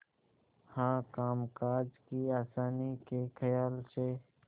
हाँ कामकाज की आसानी के खयाल से